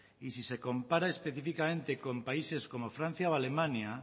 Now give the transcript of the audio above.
y si se compara específicamente con países como francia o alemania